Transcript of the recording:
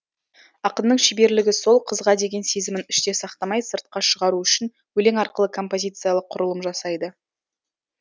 ақынның шеберлігі сол қызға деген сезімін іште сақтамай сыртқа шығару үшін өлең арқылы композициялық құрылым жасайды